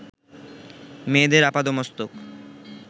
মেয়েদের আপাদমস্তক